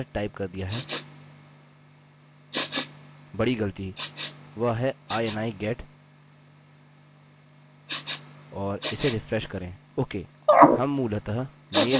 ओह ! माफ कीजिए मैंने पूर्ण गलत टाइप कर दिया है बड़ी गलती वह है ini get और इसे रिफ्रेश करें